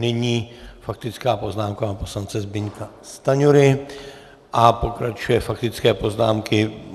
Nyní faktická poznámka pana poslance Zbyňka Stanjury a pokračují faktické poznámky.